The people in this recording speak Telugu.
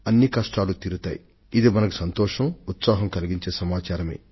ఈ కబురే మనలో ఎంతో ఉత్సాహాన్ని నింపేటటువంటిది